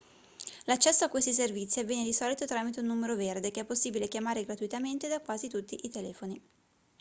l'accesso a questi servizi avviene di solito tramite un numero verde che è possibile chiamare gratuitamente da quasi tutti i telefoni